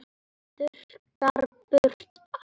Þurrkar burt æluna.